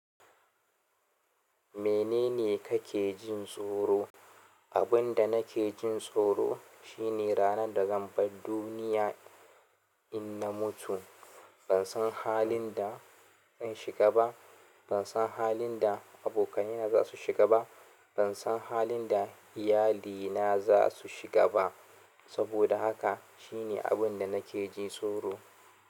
"Menene kake jin tsoro?" Abin da nake jin tsoro shi ne ranar da zan bar duniya in na mutu. Ban san halin da zan shiga ba. Ban san halin da abokaina za su shiga ba. Ban san halin da iyalina za su shiga ba. Saboda haka shi ne abin da nake jin tsoro.